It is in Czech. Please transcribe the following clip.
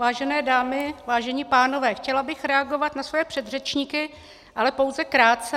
Vážené dámy, vážení pánové, chtěla bych reagovat na svoje předřečníky, ale pouze krátce.